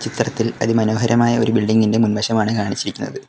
ചിത്രത്തിൽ അതി മനോഹരമായ ഒരു ബിൽഡിംഗ് ഇന്റെ മുൻവശമാണ് കാണിക്കുന്നത്.